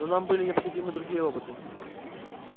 но нам были необходимы другие роботы